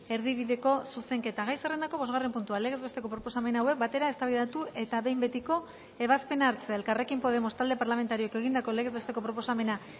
erdibideko zuzenketa gai zerrendako bosgarren puntua legez besteko proposamen hauek batera eztabaidatu eta behin betiko ebazpena hartzea elkarrekin podemos talde parlamentarioak egindako legez besteko proposamena